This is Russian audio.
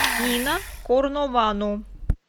нина корновану